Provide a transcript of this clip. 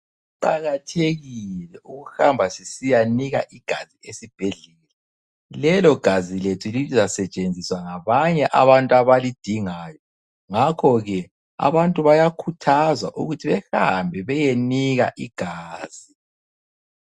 Kuqakathekile ukuhamba sisiya nika igazi esibhedlela. Lelo gazi lethu lizasetshenziswa ngabanye abantu abalidingayo ngakho ke abantu bayakhuthazwa ukuthi behambe beyenika igazi.